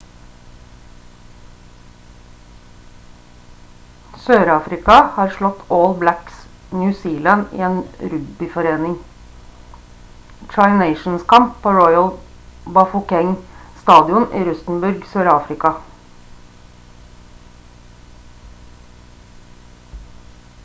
sør-afrika har slått all blacks new zealand i en rugbyforening tri-nations-kamp på royal bafokeng-stadion i rustenburg sør-afrika